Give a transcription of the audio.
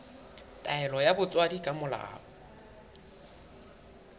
taelo ya botswadi ka molao